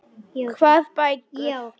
Hvað bækur?